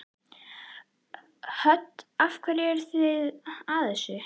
Hödd: Af hverju eruð þið að þessu?